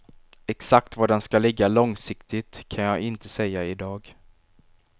Exakt var den skall ligga långsiktigt kan jag inte säga idag.